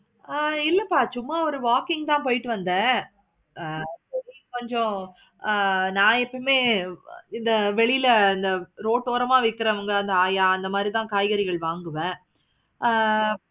ஆஹ் இல்லப்பா சும்மா ஒரு walking தான் போயிட்டு வந்தான். ஆஹ் கொஞ்சம் ஆஹ் நான் எப்பவுமே இந்த வெளில இந்த Road ஓரமா விக்குறவங்க இந்த ஆயா அந்த மாதிரி தன காய்கறிகள் வாங்குவேன்.